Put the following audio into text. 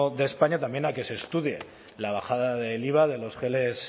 de españa a que se estudie la bajada del iva de los geles